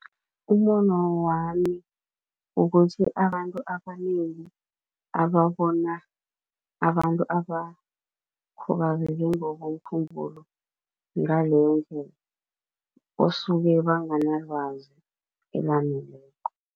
Umbono wami ukuthi abantu abanengi ababona abantu abakhubazeke ngokomkhumbulo ngaleyondlela, basuke banganalwazi elaneleko.